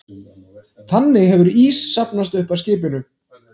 Þannig hefur ís safnast að skipinu